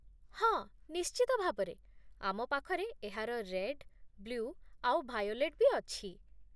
ହଁ, ନିଶ୍ଚିତ ଭାବରେ, ଆମପାଖରେ ଏହାର ରେଡ୍, ବ୍ଲ୍ୟୁ ଆଉ ଭାୟୋଲେଟ୍ ବି ଅଛି ।